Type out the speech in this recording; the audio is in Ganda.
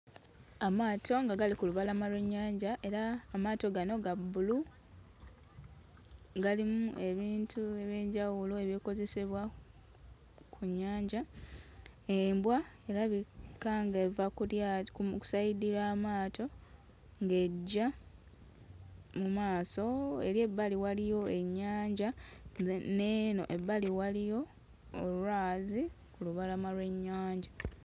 Amaato nga gali ku lubalama lw'ennya era amaato gano ga bbulu, galimu ebintu eby'e njawulo ebikozesebwa ku nnyanja. Embwa erabika ng'eva ku lyato ku sayidi y'amaato ng'ejja mu maaso era ebbali waliyo ennyanja n'eno ebbali waliyo olwazi ku lubalama lw'ennyanja.